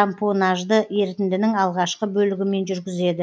тампонажды ерітіндінің алғашкы бөлігімен жүргізеді